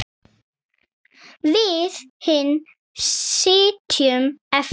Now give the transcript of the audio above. Við hin sitjum eftir.